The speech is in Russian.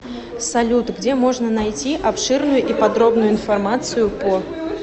салют где можно найти обширную и подробную информацию по